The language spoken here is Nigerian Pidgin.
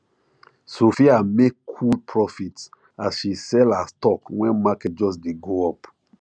sophia make cool profit as she sell her stock when market just dey go up